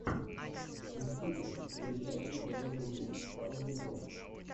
мстители величайшие герои земли второй сезон